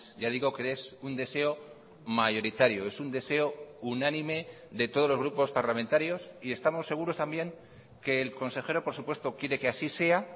ya digo que es un deseo mayoritario es un deseo unánime de todos los grupos parlamentarios y estamos seguros también que el consejero por supuesto quiere que así sea